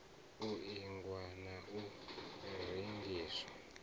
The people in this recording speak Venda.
u ingwa na u rengiswa